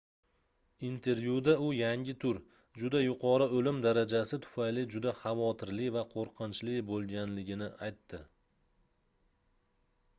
intervyuda u yangi tur juda yuqori oʻlim darajasi tufayli juda xavotirli va qoʻrqinchli boʻlganligini aytdi